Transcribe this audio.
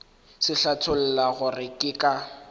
se hlatholla gore ke ka